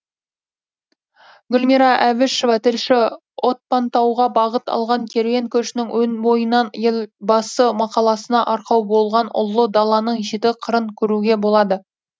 гүлмира әбішева тілші отпантауға бағыт алған керуен көшінің өн бойынан елбасы мақаласына арқау болған ұлы даланың жеті қырын көруге болады